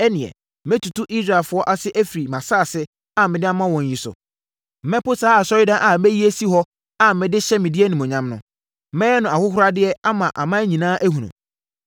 ɛnneɛ, mɛtutu Israelfoɔ ase afiri mʼasase a mede ama wɔn yi so. Mɛpo saa Asɔredan a mayi asi hɔ a mede hyɛ me din animuonyam no. Mɛyɛ no ahohoradeɛ ama aman nyinaa ahunu.